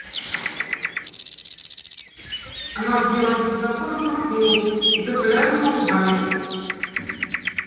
она взвилась высоко но промахнулась и только лязгнула зубами